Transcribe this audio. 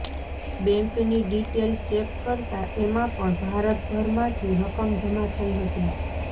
બૅન્કની detail check કરતાં એમાં પણ ભારતભરમાંથી રકમ જમા થઈ હતી